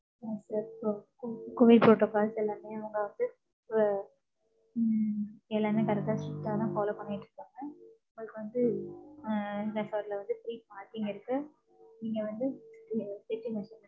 No sir இப்ப covi~ covid protocols எல்லாமே அவங்க வந்து இப்ப உம் எல்லாமே correct ஆ, strict ஆ தான் follow பண்ணிட்டு இருக்காங்க. உங்களுக்கு வந்து, அஹ் resort ல வந்து free parking இருக்கு. நீங்க வந்து அ check in